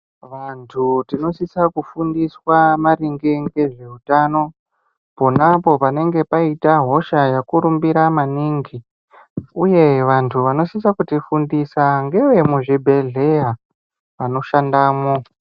Vantu tinosvitsa kufundiswa maringe ngezveutano konapo panenge paita hosha yakurumbira maningi. Uye vantu vanosvitsa kutifundisa, ngevemuzvibhedhleya vanoshandamo.